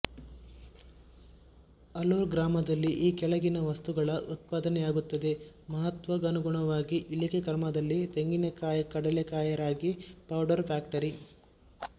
ಅಲೂರು ಗ್ರಾಮದಲ್ಲಿ ಈ ಕೆಳಗಿನ ವಸ್ತುಗಳ ಉತ್ಪಾದನೆಯಾಗುತ್ತದೆ ಮಹತ್ವಗನುಗುಣವಾಗಿ ಇಳಿಕೆ ಕ್ರಮದಲ್ಲಿತೆಂಗಿನಕಾಯಿಕಡಲೇಕಾಯಿರಾಗಿ ಪೌಡರ್ ಫ಼್ಯಾಕ್ಟರಿ